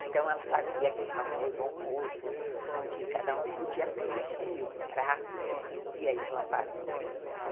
Então ela fazia aquele famoso almoço, onde cada um podia pedir um prato que queria e ela fazia e tal.